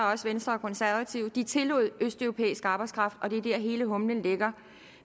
også venstre og konservative de tillod østeuropæisk arbejdskraft og det er der hele humlen ligger